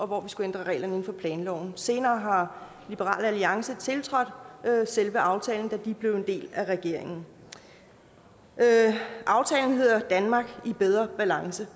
hvor vi skulle ændre reglerne for planloven senere har liberal alliance tiltrådt selve aftalen da de blev en del af regeringen aftalen hedder et danmark i bedre balance